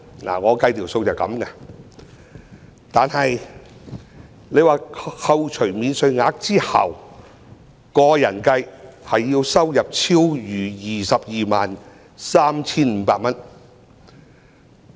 我所計算的數字便是這樣，在扣除免稅額後，以個人計算，其收入要超逾 223,500 元。